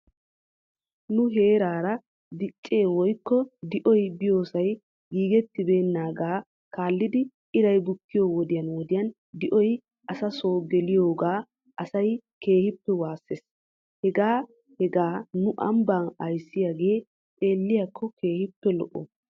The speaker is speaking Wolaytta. Nu heerara diichchee woykko di'oy biyoosay giigetibeenaagaa kaalidi iray bukkiyoo wodiyan wodiyan di'oy asaasoo geliyooga asaa keehoppe waayisses. Hegaa hegaa nu ambbaa ayissiyaagee xeeliyaakko keehippe lo'o.